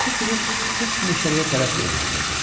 Bələdçi fili sıx meşəliyə tərəf yönləndirdi.